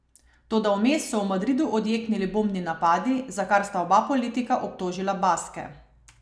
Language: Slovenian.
Toda vmes so v Madridu odjeknili bombni napadi, za kar sta oba politika obtožila Baske.